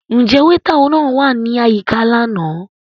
Njẹ weeta náà wa ni ayika làná?